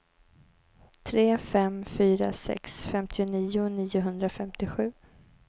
tre fem fyra sex femtionio niohundrafemtiosju